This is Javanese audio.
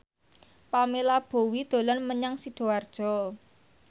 Pamela Bowie dolan menyang Sidoarjo